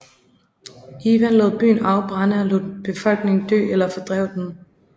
Ivan lod byen afbrænde og lod befolkningen dø eller fordrev den